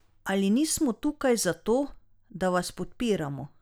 Ali nismo tukaj zato, da vas podpiramo?